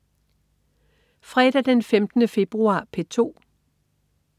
Fredag den 15. februar - P2: